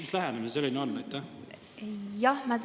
Mis lähenemine see selline on?!